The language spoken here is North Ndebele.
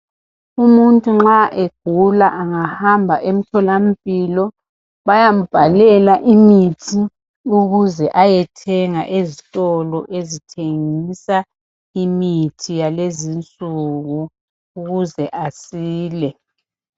Umuntu nxa egula engahamba emtholampilo, bayambhalela imithi, ukuze ayethenga ezitolo ezithengisa imithi, yakulezi insuku. Ukuze asile.